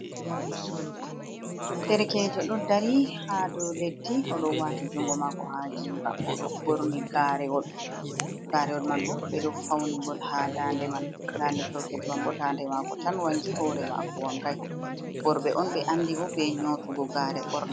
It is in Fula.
Derekeejo ɗo dari haa dow keddi o ɗo waati junngo haa jiiba, o ɗo ɓoorni Gaarewol, Gaarewol man boo ɓe ɗo fawni ngol haa daande man, daande derkeejo man boo daande maako tan wanngi hoore maako wanngay. Worɓe on Ɓe anndiri bee nyootugo gaarewol ɓoorna.